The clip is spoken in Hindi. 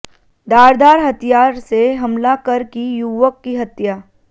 धारदार हथियार से हमला कर की युवक की हत्या